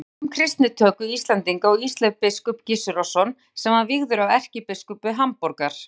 Hann veit um kristnitöku Íslendinga og Ísleif biskup Gissurarson sem var vígður af erkibiskupi Hamborgar.